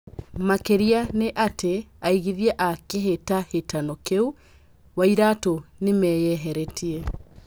Makĩrĩra nĩ atĩ aigithia a kĩhĩtahĩtano kĩu- Wairatũ nimeyeheretie.